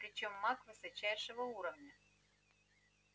причём маг высочайшего уровня